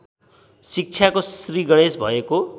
शिक्षाको श्रीगणेश भएको